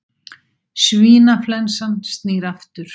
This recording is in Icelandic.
Svínaflensan snýr aftur